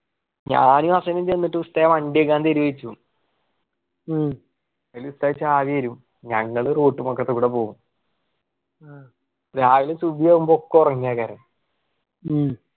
ഞാന് ഹസനും ചേന്നിട്ട് ഉസ്താതെ വണ്ടി ക്കെ തരുമോ ചോദിച്ചു അതില് ഉസ്താദ് ചാവി തരും ഞങ്ങള് road വക്കത്തെകൂടെ പോകും രാവിലെ ഒക്കെ ഉറങ്ങുവാ ക്കാര്